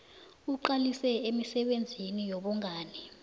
iqalise emisebenzini yobungani